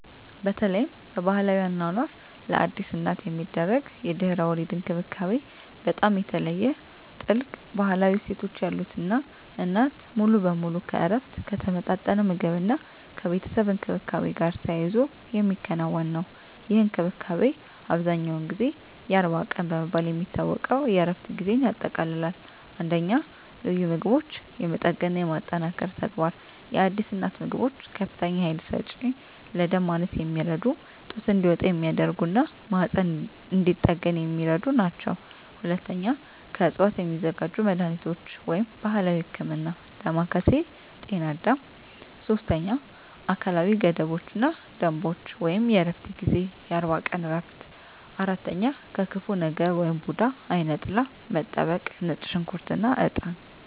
በተለይም በባሕላዊ አኗኗር፣ ለአዲስ እናት የሚደረግ የድህረ-ወሊድ እንክብካቤ በጣም የተለየ፣ ጥልቅ ባሕላዊ እሴቶች ያሉት እና እናት ሙሉ በሙሉ ከእረፍት፣ ከተመጣጠነ ምግብ እና ከቤተሰብ እንክብካቤ ጋር ተያይዞ የሚከናወን ነው። ይህ እንክብካቤ አብዛኛውን ጊዜ "የአርባ ቀን" በመባል የሚታወቀው የእረፍት ጊዜን ያጠቃልላል። 1. ልዩ ምግቦች (የመጠገንና የማጠንከር ተግባር) የአዲስ እናት ምግቦች ከፍተኛ ኃይል ሰጪ፣ ለደም ማነስ የሚረዱ፣ ጡት እንዲወጣ የሚያደርጉ እና ማህፀን እንዲጠገን የሚረዱ ናቸው። 2. ከዕፅዋት የሚዘጋጁ መድኃኒቶች (ባሕላዊ ህክምና) ዳማከሴ/ጤናአዳም: 3. አካላዊ ገደቦች እና ደንቦች (የእረፍት ጊዜ) የአርባ ቀን እረፍት 4. ከክፉ ነገር (ቡዳ/አይነ ጥላ) መጠበቅ ነጭ ሽንኩርት እና እጣን